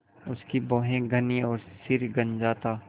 उसकी भौहें घनी और सिर गंजा था